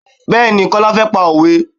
Bẹẹni, Kọ́lá fẹ́ pa òwe.